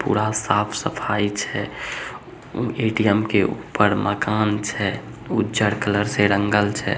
पूरा साफ सफाई छै ए.टी.एम के ऊपर मकान छै उज्जर कलर से रंगल छै।